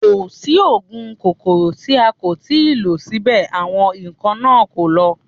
Kò sí oògùn kòkòrò tí a kò tí ì lò síbẹ̀ àwọn ikán náà kọ̀ láti lọ